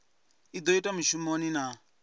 i do itwa mushumoni na